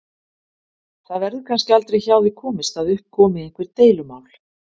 Það verður kannski aldrei hjá því komist að upp komi einhver deilumál.